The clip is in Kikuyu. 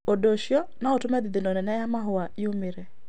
Ũndũ ũcio no ũtũme thithino nene ya mahũa yumĩre.